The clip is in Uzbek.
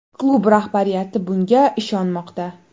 Klub rahbariyati bunga ishonmoqda.